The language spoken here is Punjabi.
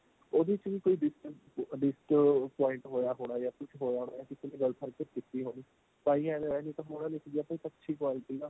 ਉਹਦੇ ਚ ਵੀ ਕੋਈ point ਹੋਇਆ ਹੋਣਾ ਜਾ ਕੁੱਝ ਹੋਇਆ ਹੋਣਾ ਹੋਣੀ ਤਾਹੀ ਏਵੈ ਹੋਇਆ ਨਹੀਂ ਤਾਂ ਹੋਣਾ ਨਹੀਂ ਸੀ ਜੇ ਆਪਾਂ ਇੱਕ ਅੱਛੀ quality ਦਾ